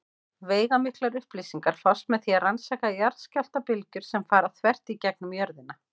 Veigamiklar upplýsingar fást með því að rannsaka jarðskjálftabylgjur sem fara þvert í gegnum jörðina.